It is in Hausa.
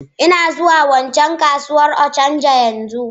Ina zuwa waccan kasuwar Ochanja yanzu.